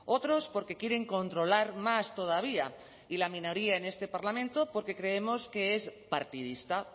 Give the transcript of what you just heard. otros porque quieren controlar más todavía y la minoría en este parlamento porque creemos que es partidista